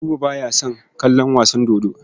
Buba ba ya son kallon wasan dodo.